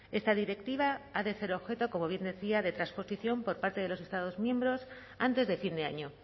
esta directiva ha de ser objeto como bien decía de transposición por parte de los estados miembros antes de fin de año